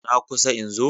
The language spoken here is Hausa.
Na kusa in zo.